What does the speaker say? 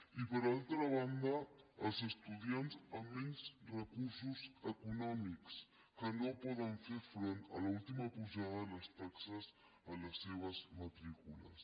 i per altra banda els estudiants amb menys recursos econòmics que no poden fer front a l’última pujada de les taxes en les seves matrícules